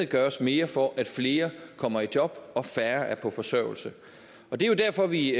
gøres mere for at flere kommer i job og færre er på forsørgelse det er jo derfor vi